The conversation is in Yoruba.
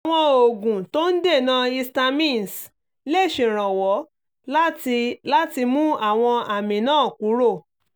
àwọn oògùn tó ń dènà histamines lè ṣèrànwọ́ láti láti mú àwọn àmì náà kúrò